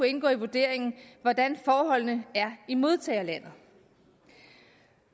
indgå i vurderingen hvordan forholdene er i modtagerlandet